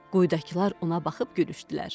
Quyudakılar ona baxıb gülüşdülər.